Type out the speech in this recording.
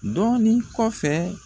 Dɔɔni kɔfɛ